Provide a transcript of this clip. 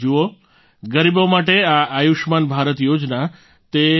જુઓ ગરીબો માટે આ આયુષ્યમાન ભારત યોજના તે પોતાનામાં